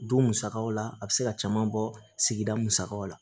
Don musakaw la a bɛ se ka caman bɔ sigida musakaw la